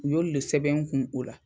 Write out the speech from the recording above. U y'olu de sɛbɛn n kun o la.